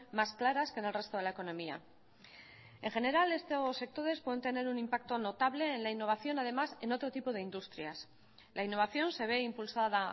más claras que en el resto de la economía en general estos sectores pueden tener un impacto notable en la innovación además en otro tipo de industrial la innovación se ve impulsada